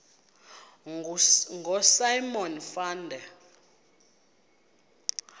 ngosimon van der